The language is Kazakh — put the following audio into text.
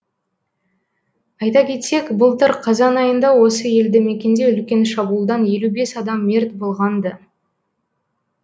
айта кетсек былтыр қазан айында осы елді мекенде үлкен шабуылданелу бес адам мерт болған ды